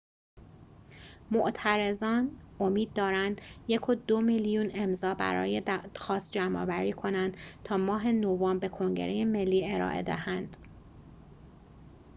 معترضان امید دارند ۱.۲ میلیون امضا برای دادخواست جمع‌آوری کنند تا ماه نوامبر به کنگره ملی ارائه دهند